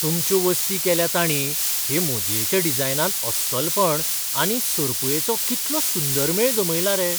तुमच्यो वस्ती केल्यात तांणी हे मुदयेच्या डिझायनांत अस्सलपण आनी सरुपायेचो कितलो सुंदर मेळ जमयला रे!